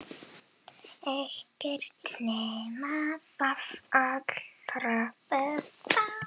Ekkert nema það allra besta.